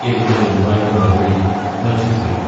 എന്നുള്ള ഉമ്മായുടെ മറുപടിയും മജീദ് കേട്ടു.